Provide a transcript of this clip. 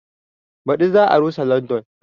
Baɗi za a rusa London